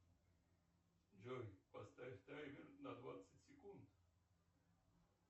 джой поставь таймер на двадцать секунд